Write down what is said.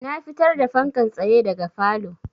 Na fitar da fankan tsaye daga falow